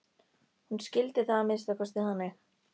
Hún skildi það að minnsta kosti þannig.